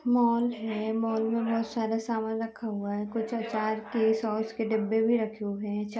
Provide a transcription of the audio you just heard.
mall है mall में बहोत सारा सामान रखा हुआ हैकुछ आचार के सॉस के डिब्बे भी रखे हुऐ हैं चा --